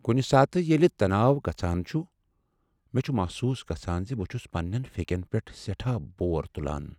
کُنہِ ساتہٕ ییلہِ تناو گژھان چُھ، مےٚ چُھ محسوس گژھان ز بہٕ چُھس پنٛنین فیٚکین پیٹھ سیٚٹھاہ بور تُلان۔